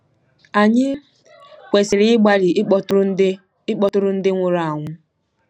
Ànyị kwesịrị ịgbalị ịkpọtụrụ ndị ịkpọtụrụ ndị nwụrụ anwụ?